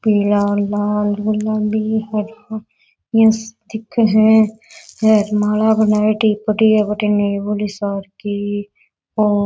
पीला लाल गुलाबी हरा यह दिखे है माला बनायेडी पड़ी है भटीने बड़ी सार की ओ --